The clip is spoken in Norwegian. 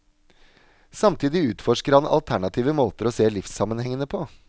Samtidig utforsker han alternative måter å se livssammenhengene på.